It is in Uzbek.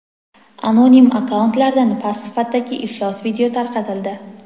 Anonim akkauntlardan past sifatdagi iflos video tarqatildi.